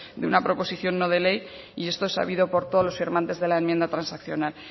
de una proposición no de ley y esto es sabido por todos los firmantes de la enmienda transaccional